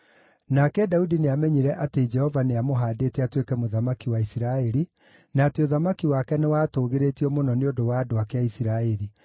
Nake Daudi nĩamenyire atĩ Jehova nĩamũhaandĩte atuĩke mũthamaki wa Isiraeli, na atĩ ũthamaki wake nĩwatũũgĩrĩtio mũno nĩ ũndũ wa andũ ake a Isiraeli.